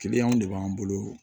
Kiliyanw de b'an bolo